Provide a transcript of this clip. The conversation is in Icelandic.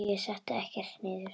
Mamma: Ég setti ekkert niður!